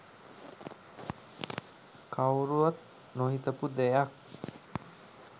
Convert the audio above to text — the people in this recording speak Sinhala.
කවුරුවත් නොහිතපු දෙයක්.